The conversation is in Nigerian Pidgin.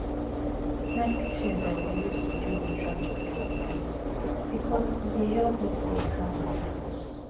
na patience i dey use to deal with traffic and delays because e dey help me stay calm and focused